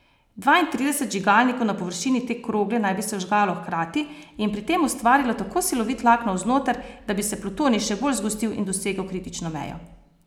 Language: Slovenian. Dvaintrideset vžigalnikov na površini te krogle naj bi se vžgalo hkrati in pri tem ustvarilo tako silovit tlak navznoter, da bi se plutonij še bolj zgostil in dosegel kritično mejo.